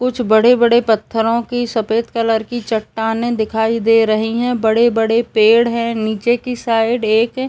कुछ बड़े-बड़े पत्थरों की सफ़ेद कलर की चट्टानें दिखाई दे रही हैं बड़े-बड़े पेड़ हैं नीचे की साइड एक --